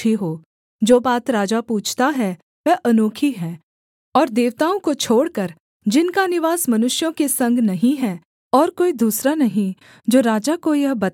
जो बात राजा पूछता है वह अनोखी है और देवताओं को छोड़कर जिनका निवास मनुष्यों के संग नहीं है और कोई दूसरा नहीं जो राजा को यह बता सके